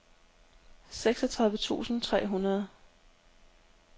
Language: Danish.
seksogtredive tusind tre hundrede